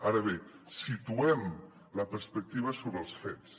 ara bé situem la perspectiva sobre els fets